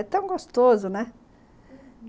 É tão gostoso, né, uhum.